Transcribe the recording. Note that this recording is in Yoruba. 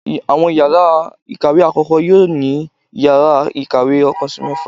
awọn ìyára ikáwe akọkọ, yoo ni íyarà ikáwe ọkan si mẹfa.